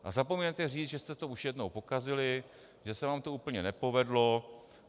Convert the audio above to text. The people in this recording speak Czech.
A zapomínáte říct, že jste to už jednou pokazili, že se vám to úplně nepovedlo.